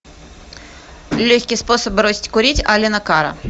легкий способ бросить курить аллена карра